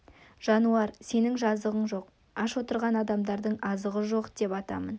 жануар сенің жазығың жоқ аш отырған адамдардың азығы жоқ деп атамын